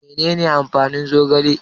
Menene amfanin zogale?